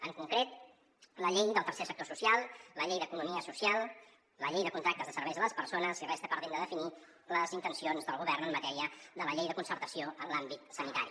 en concret la llei del tercer sector social la llei d’economia social la llei de contractes de serveis a les persones i resten pendents de definir les intencions del govern en matèria de la llei de concertació en l’àmbit sanitari